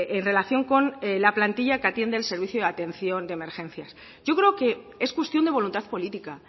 en relación con la plantilla que atiende el servicio de atención de emergencias yo creo que es cuestión de voluntad política